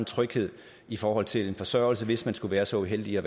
tryghed i forhold til forsørgelse hvis man skulle være så uheldig at